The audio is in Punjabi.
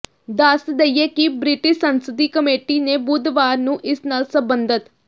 ਦੱਸ ਦਈਏ ਕਿ ਬ੍ਰਿਟਿਸ਼ ਸੰਸਦੀ ਕਮੇਟੀ ਨੇ ਬੁੱਧਵਾਰ ਨੂੰ ਇਸ ਨਾਲ ਸਬੰਧਤ